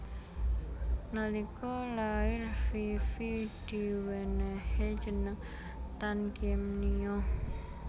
Nalika lair Fifi diwenéhi jeneng Tan Kiem Nio